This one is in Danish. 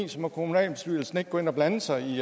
må kommunalbestyrelsen ikke gå ind at blande sig i